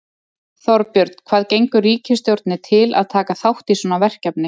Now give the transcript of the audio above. Þorbjörn, hvað gengur ríkisstjórninni til að taka þátt í svona verkefni?